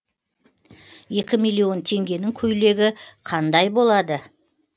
екі миллион теңгенің көйлегі қандай болады